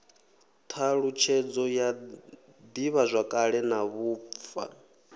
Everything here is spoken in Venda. thalutshedzo ya divhazwakale na vhufa